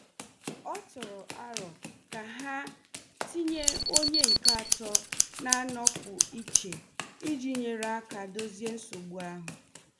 O tụrụ aro ka ha tinye onye nke atọ na-anọpụ iche iji nyere aka dozie nsogbu ahụ.